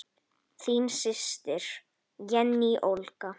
Þín systir, Jenný Olga.